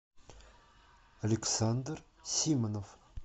александр симонов